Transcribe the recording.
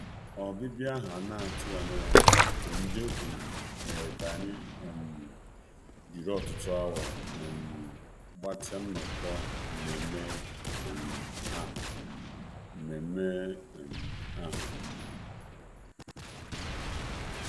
um Ọbịbịa ahụ um a na-atụghị anya ya nke ndị okenye um mere ka anyị jiri ọtụtụ awa gbatịa nnọkọ nmenme ahụ.